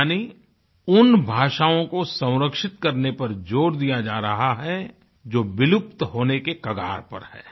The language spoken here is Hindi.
यानी उन भाषाओँ को संरक्षित करने पर जोर दिया जा रहा है जो विलुप्त होने के कगार पर है